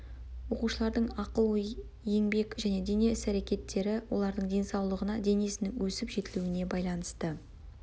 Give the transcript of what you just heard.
оқушылардың ақыл ой еңбек және дене іс әрекеттері олардың денсаулығына денесінің өсіп жетілуіне байланысты